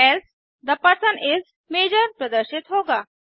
else the person इस मजोर प्रदर्शित होगा